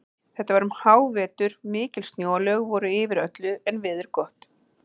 Þetta var um hávetur, mikil snjóalög voru yfir öllu en veður gott.